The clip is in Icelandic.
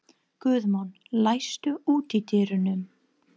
Guðmon, læstu útidyrunum.